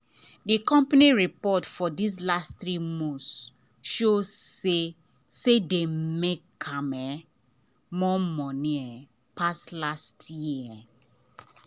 the company report for this last three months show say dem say dem make um more money um pass last year. um